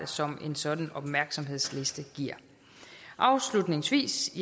som en sådan opmærksomhedsliste giver afslutningsvis